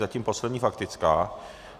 Zatím poslední faktická.